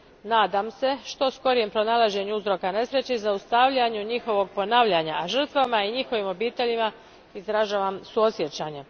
Nadam se što skorijem pronalasku uzroka nesreće i zaustavljanju njihovog ponavljanja, a žrtvama i njihovim obiteljima izražavam suosjećanje.